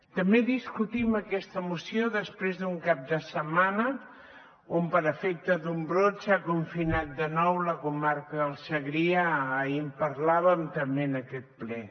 també discutim aquesta moció després d’un cap de setmana on per efecte d’un brot s’ha confinat de nou la comarca del segrià ahir en parlàvem també en aquest ple